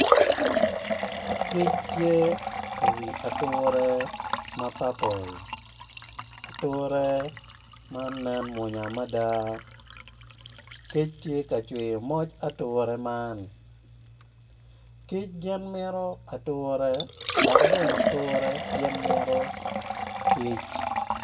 Kic tye iwi ature ma papol ature man nen mwonya mada kic tye ka cwiyo moj ature man kic gin mito ature dok bene ature gin mito kic.